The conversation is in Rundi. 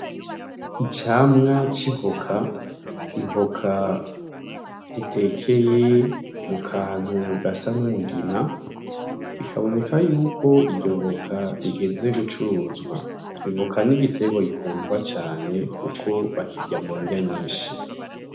Icamwa c'ivoka, ivoka ritekeye mukantu gasa n'umugina bikaboneka yuko iryo voka rigeze gucuruzwa ivoka ni igitegwa gikundwa cane kuko bakirya mundya nyinshi.